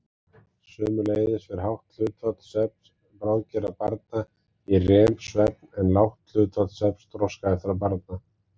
Sömuleiðis fer hátt hlutfall svefns bráðgerra barna í REM-svefn en lágt hlutfall svefns þroskaheftra barna.